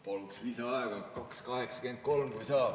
Paluks lisaaega, 2.83, kui saab.